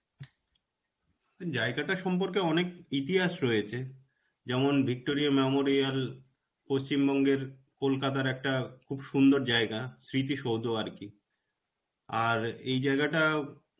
জায়গাটা সম্পর্কে অনেক ইতিহাস রয়েছে. যেমন Victoria memorial পশ্চিমবঙ্গের কলকাতার একটা খুব সুন্দর জায়গা. স্মৃতি সৌধ আর কি. আর, এই জায়গাটা